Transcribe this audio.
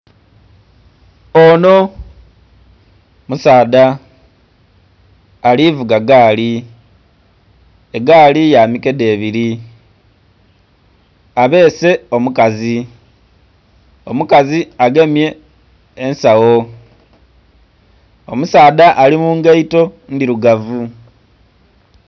Ono musaadha alivuga gaali, egaali ya mikendhe ebiri abbese omukazi, omukazi agemye ensagho omusaadha ali mungaito ndhirugavu.